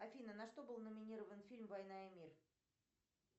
афина на что был номинирован фильм война и мир